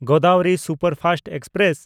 Godavari superfast express